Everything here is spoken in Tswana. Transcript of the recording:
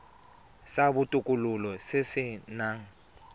sa botokololo se se nang